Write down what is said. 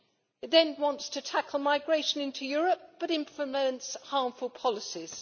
It then wants to tackle migration into Europe, but implements harmful policies.